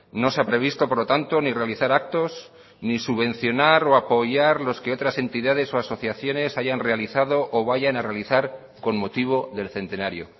no se ha previsto por lo tanto ni realizar actos ni subvencionar o apoyar los que otras entidades o asociaciones hayan realizado o vayan a realizar con motivo del centenario